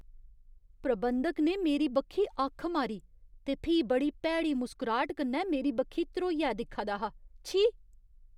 प्रबंधक ने मेरी बक्खी अक्ख मारी ते फ्ही बड़ी भैड़ी मुसकराह्ट कन्नै मेरी बक्खी ध्रोइयै दिक्खा दा हा, छी।